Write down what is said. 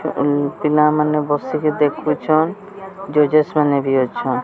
ପିଲାମାନେ ବସିକି ଦେଖୁଚନ୍ ଜଜେସ୍ ମାନେ ବି ଅଛନ୍।